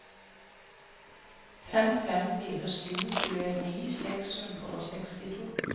fem fem fire sju tjueni seks hundre og sekstito